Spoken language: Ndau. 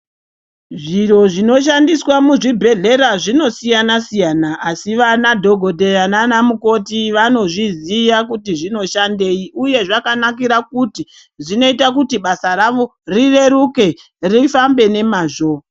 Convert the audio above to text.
Zviro zvinoshandiswa muzvibhedhlera zvinosiyana siyana asi ana dhokodheya nana mukoti vanozviziva kuti zvinoshandei uye Zvinoita kuti basa rawo rireruke rifambe nemazvo.